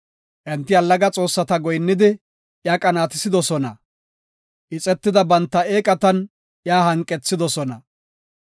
Enti allaga xoossata goyinnidi, iya qanaatisidosona. Ixetida banta eeqatan iya hanqethidosona.